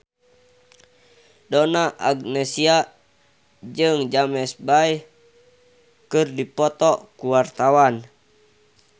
Donna Agnesia jeung James Bay keur dipoto ku wartawan